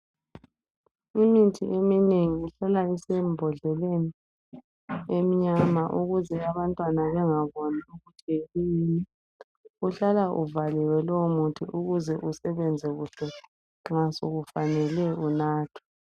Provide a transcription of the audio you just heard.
Imithi eminengi ihlala isembodleleni emnyama ukuze abantwana bengaboni ukuthi kuyini. Uhlala uvaliwe lowomuthi ukusebenze kuhle nxa sekufanele unathwe.